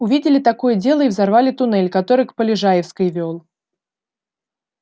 увидели такое дело и взорвали туннель который к полежаевской вёл